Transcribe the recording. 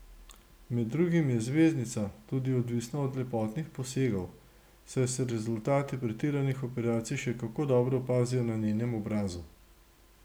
Med drugim je zvezdnica tudi odvisna od lepotnih posegov, saj se rezultati pretiranih operacij še kako dobro opazijo na njenem obrazu.